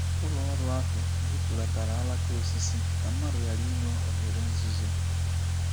Ụlọ ọrụ ahụ gbutulatara alaka osisi ka mmadụ ghara inwe oghere nzuzo.